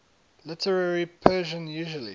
literary persian usually